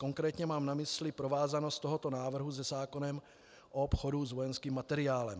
Konkrétně mám na mysli provázanost tohoto návrhu se zákonem o obchodu s vojenským materiálem.